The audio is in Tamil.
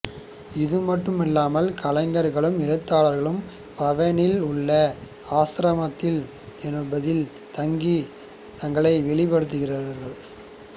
இது மட்டுமல்லாமல் கலைஞர்களும் எழுத்தாளர்களும் பவனில் உள்ள ஆஸ்ரம் என்பதில் தங்கி தங்களை வெளிபடுத்துகிறார்கள்